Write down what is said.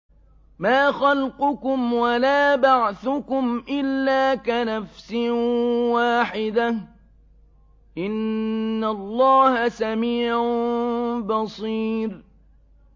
مَّا خَلْقُكُمْ وَلَا بَعْثُكُمْ إِلَّا كَنَفْسٍ وَاحِدَةٍ ۗ إِنَّ اللَّهَ سَمِيعٌ بَصِيرٌ